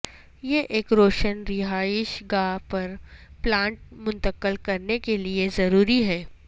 یہ ایک روشن رہائش گاہ پر پلانٹ منتقل کرنے کے لئے ضروری ہے